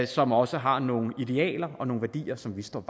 som også har nogle idealer og nogle værdier som vi står